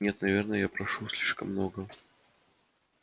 нет наверное я прошу слишком многого